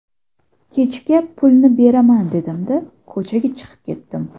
Kechga pulni beraman dedim-da, ko‘chaga chiqib ketdim.